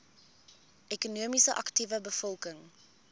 ekonomies aktiewe bevolking